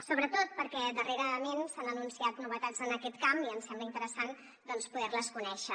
sobretot perquè darrerament s’han anunciat novetats en aquest camp i em sembla interessant doncs poder les conèixer